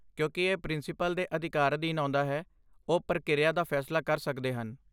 ਕਿਉਂਕਿ ਇਹ ਪ੍ਰਿੰਸੀਪਲ ਦੇ ਅਧਿਕਾਰ ਅਧੀਨ ਆਉਂਦਾ ਹੈ, ਉਹ ਪ੍ਰਕਿਰਿਆ ਦਾ ਫੈਸਲਾ ਕਰ ਸਕਦੇ ਹਨ।